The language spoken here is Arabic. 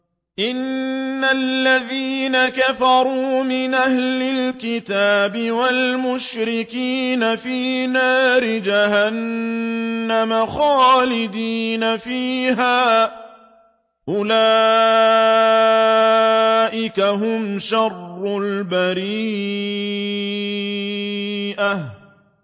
إِنَّ الَّذِينَ كَفَرُوا مِنْ أَهْلِ الْكِتَابِ وَالْمُشْرِكِينَ فِي نَارِ جَهَنَّمَ خَالِدِينَ فِيهَا ۚ أُولَٰئِكَ هُمْ شَرُّ الْبَرِيَّةِ